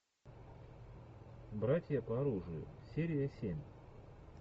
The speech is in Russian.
братья по оружию серия семь